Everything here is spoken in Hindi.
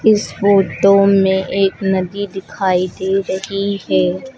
इस फोटो में एक नदी दिखाई दे रही है।